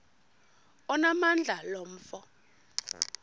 onamandla lo mfo